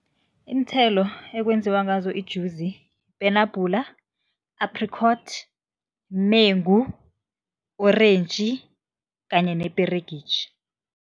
Iinthelo ekwenziwa ngazo ijuzi, ipenabhula, apricot, mengu, orentji kanye neperegitjhi.